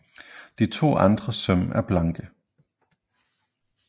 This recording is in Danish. De to andre søm er blanke